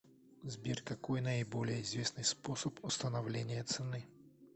сбер какой наиболее известный способ установления цены